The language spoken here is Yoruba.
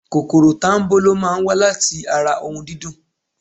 Kòkòrò tanbolo máa ń wa láti ara ohun dídùn.